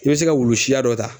I bɛ se ka wulu siya dɔ ta